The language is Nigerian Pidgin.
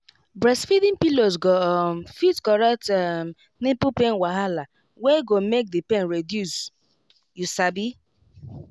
breastfeeding pillows go um fit correct um nipple pain wahala wey go make the pain reduce wait you sabi